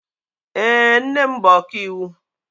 Èé, nne m bụ ọkaiwu.